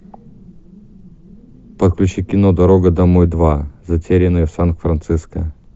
подключи кино дорога домой два затерянные в сан франциско